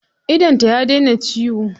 Idonta ya daina ciwo.